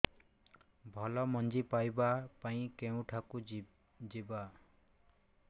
ଭଲ ମଞ୍ଜି ପାଇବା ପାଇଁ କେଉଁଠାକୁ ଯିବା